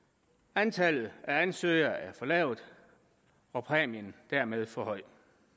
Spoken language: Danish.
antallet af ansøgere er for lavt og præmien dermed for høj